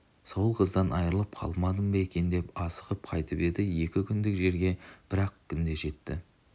сол қыздан айрылып қалмадым ба екен деп асығып қайтып еді екі күндік жерге бір-ақ күнде жетті